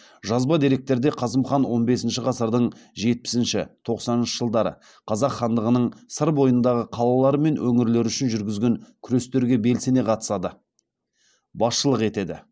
жазба деректерде қасым хан он бесінші ғасырдың жетпісінші тоқсаныншы жылдары қазақ хандығының сыр бойындағы қалалар мен өңірлер үшін жүргізген күрестерге белсене қатысады басшылық етеді